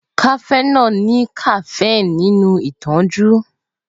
Cafenol ní caffeine fún ìtanijí.